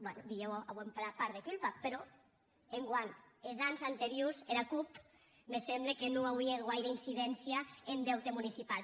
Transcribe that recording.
ben dilhèu auem part de culpa però enguan es ans anteriors era cup me semble que non auie guaire incidéncia en deute municipau